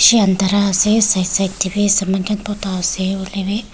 bishi andhara ase side side tae bi ase hoilaebi.